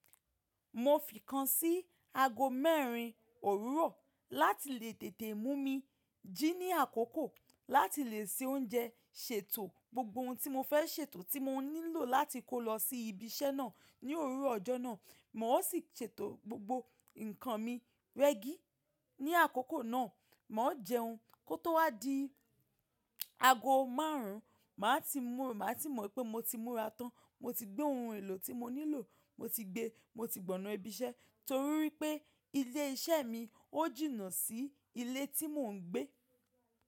Mo fi kan si ago mẹ́rin òwúrọ̀ láti lè tètè mú mi jí ní àkókò láti lè se oúnjẹ, ṣètò gbogbo oun tí mo fẹ́ ṣètò tí mo nílò láti kó lọ sí ibi iṣẹ́ náà ní òwúrọ̀ ọjọ́ náà. Mo o sì ṣètò gbogbo ǹkan mi rẹ́gí ní àkókò náà. Mọọ jẹun kó tó wá di ago márùn-ún, màá ti mú, màá ti mọ̀ pé mo ti múra tán, mo ti gbé ohun èlò tí mo nílò, mo ti gbe, mo ti gbọ̀ná ibi iṣẹ́ torí wípé ilé iṣẹ́ mi ó jìnnà sí ilé tí mò ń gbé.